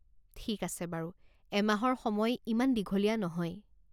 ঠিক আছে বাৰু, এমাহৰ সময় ইমান দীঘলীয়া নহয়।